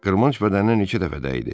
Qırmanc bədəninə neçə dəfə dəydi.